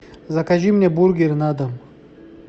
закажи мне бургер на дом